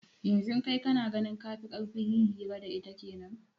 Yanzu kai kana ganin kafi karfin yin hira da ita kenan